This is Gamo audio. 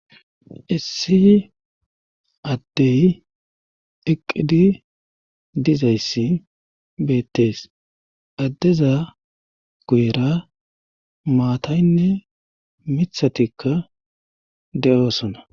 Issi addey iqqidi dizayssi beettees addeza guyra maataynne mithatikka de'oosona.